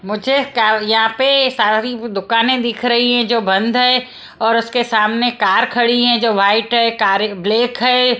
मुझे काँ यहां पे सारी वो दुकानें दिख रही है जो बंद है और उसके सामने कार खड़ी है जो वाइट है कार एक ब्लैक है।